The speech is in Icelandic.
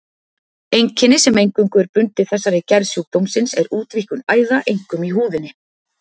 Einkenni sem eingöngu er bundið þessari gerð sjúkdómsins er útvíkkun æða, einkum í húðinni.